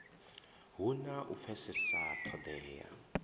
hu na u pfesesa ṱhodea